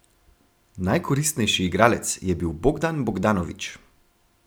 Najkoristnejši igralec je bil Bogdan Bogdanović.